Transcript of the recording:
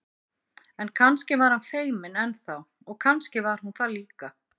En kannski var hann feiminn enn þá og kannski var hún það líka.